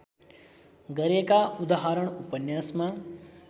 गरेका उदाहरण उपन्यासमा